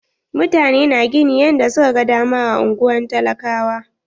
Mutane na gini yanda su ka gan dama a unguwar talakawa.